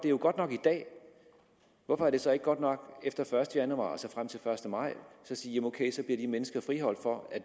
jo godt nok i dag hvorfor er det så ikke godt nok efter første januar altså frem til første maj at sige at ok så bliver de mennesker friholdt for at